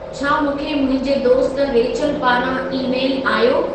छा मूंखे मुंहिंजे दोस्त रेचल पारां ई-मेलु आयो